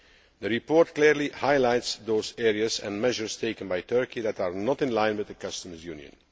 The report clearly highlights those areas and measures taken by Turkey that are not in line with the customs union.